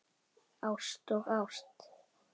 Ást og ást.